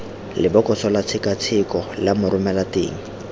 lebokosong la tshekatsheko la moromelateng